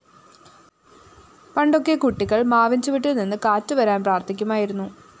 പണ്ടൊക്കെ കുട്ടികള്‍ മാവിന്‍ചുവട്ടില്‍ നിന്ന് കാറ്റുവരാന്‍ പ്രാര്‍ഥിക്കുമായിരുന്നു